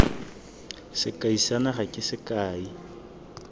sekai sa naga ke sekai